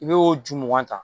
N'i y'o ju mugan ta